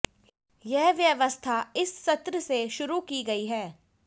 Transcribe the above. यह व्यवस्था इस सत्र से शुरू की गई है